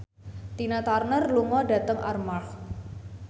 Tina Turner lunga dhateng Armargh